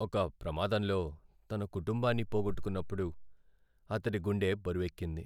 ఒక ప్రమాదంలో తన కుటుంబాన్ని పోగొట్టుకునప్పుడు అతడి గుండె బరువెక్కింది.